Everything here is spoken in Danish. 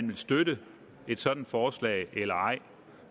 vil støtte et sådant forslag eller ej